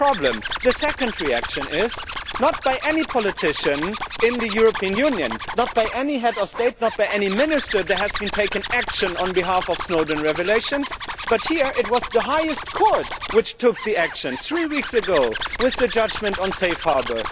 That is the problem. The second reaction is not by any politician in the European Union, not by any head of state, nor by any minister has there been taken action on behalf of the Snowden revelations, but here it was the highest court which took the action three weeks ago with the judgment on Safe Harbour.